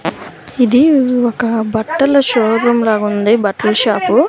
ఇది ఒక బట్టల షోరూం లాగుంది బట్ల షాపు .